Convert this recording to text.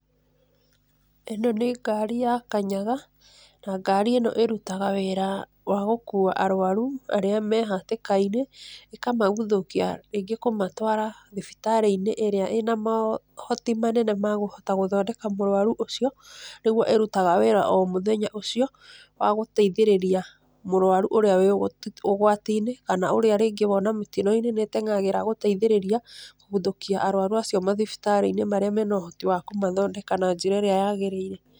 Ĩno nĩ ngari ya kanyaga, na ngari ĩno ĩrutaga wĩra wa gũkua arwaru, arĩa mehatĩkainĩ, ĩkamaguthũkia rĩngĩ kũmatwara thibitarĩinĩ, ĩrĩa ĩna mohoti manene ma kũhota gũthoneka mũrwaru ũcio, nĩgu ĩrutaga wĩra o mũthenya ũcio, wa gũteithĩrĩria mũrwaru ũrĩa wĩ ũgwatinĩ, kana ũrĩa rĩngĩ wona mĩtinoinĩ nĩtengagĩra gũteithĩrĩria, kũgũthũkia arwaru acio mathibitarĩinĩ marĩa mena ũhoti wa kũmathondeka na njĩra ĩrĩa yagĩrĩire.